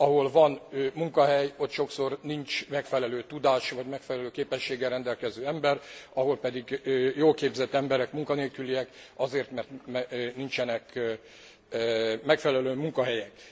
Ahol van munkahely, ott sokszor nincs megfelelő tudással vagy megfelelő képességgel rendelkező ember, máshol pedig jól képzett emberek munkanélküliek azért, mert nincsenek megfelelő munkahelyek.